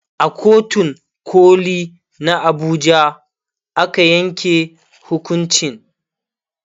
a kotun koli na Abuja aka yanke hukuncin